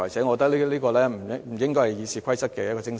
我覺得這不應該是《議事規則》的精神。